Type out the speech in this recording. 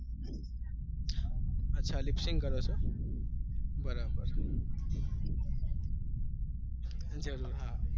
અચ્છા lip-sync કરો છો બરાબર જરૂર હા